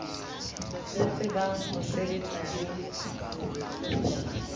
re tsebang ho sebetsa re